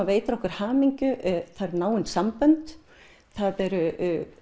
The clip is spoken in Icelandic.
veitir okkur hamingju náin sambönd það eru